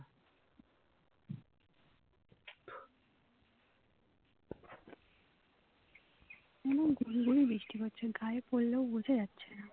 হুঁ গুড়ি গুড়ি বৃষ্টি পড়ছে গায়ে পড়লেও বোঝা যাচ্ছে না